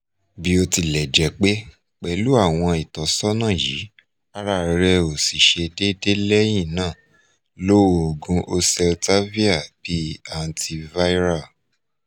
bi otilejepe pelu awon itosana yi ara re osi se dede lehina lo oogun oseltavir bi antiviral